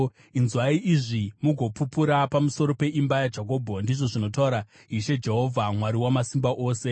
“Inzwai izvi, mugopupura pamusoro peimba yaJakobho,” ndizvo zvinotaura Ishe Jehovha, Mwari Wamasimba Ose.